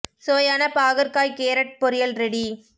சுவையான பாகற்காய் கேரட் பொரியல் ரெடி